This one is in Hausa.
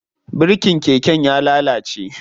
Birikin keken ya lalace.